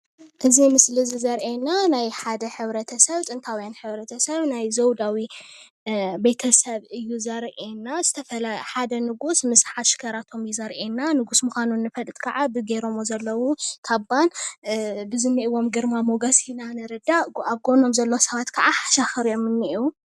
እዚ ምስሊ ዘሪኤና ናይ ሓደ ሕብረተሰብ ጥንታውያን ሕብረተሰብ ናይ ዘውዳዊ ቤተ-ሰብ እዩ ዘሪኤና ዝተፈላ ሓደ ንጉስ ምስ ሓሽከራቶም እዮ ዘሪኤና፡፡ ንጉስ ምዃኑ ንፈልጥ ከዓ ብጌረምዎ ዘለው ካባን ብዝኒኤዎም ግርማ ሞገስ ኢና ንርዳእ፡፡ ኣብ ጎኖም ዘለው ሰባት ከዓ ሓሻኽር እዮም ዝኒኤው፡፡